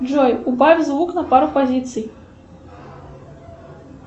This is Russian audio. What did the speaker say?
джой убавь звук на пару позиций